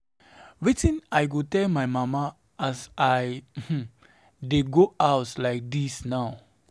Wetin I go tell my mama as I um dey go house like dis now.